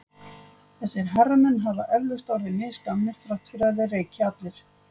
Þessir herramenn hafa eflaust orðið misgamlir þrátt fyrir að þeir reyki allir.